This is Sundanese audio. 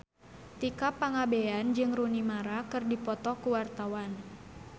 Tika Pangabean jeung Rooney Mara keur dipoto ku wartawan